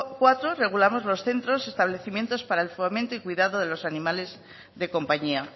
cuarto regulamos los centros establecimientos para el fomento y cuidado de los animales de compañía